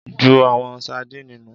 Jú awon sadíìnì nu.